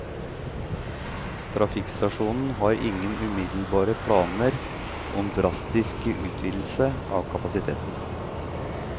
Trafikkstasjonen har ingen umiddelbare planer om å drastisk utvidelse av kapasiteten.